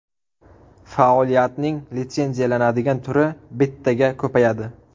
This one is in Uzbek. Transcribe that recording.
Faoliyatning litsenziyalanadigan turi bittaga ko‘payadi.